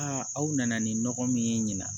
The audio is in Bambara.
Aa aw nana ni nɔgɔ min ye ɲina